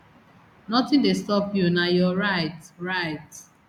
nothing dey stop you na your right right